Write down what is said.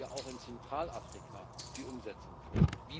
Wie bereiten wir auch in Zentralafrika die Umsetzung vor?